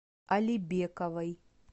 алибековой